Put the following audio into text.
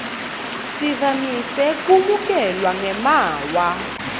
sivamise kwemukelwa ngemaawa